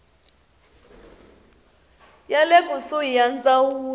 ya le kusuhi ya ndzawulo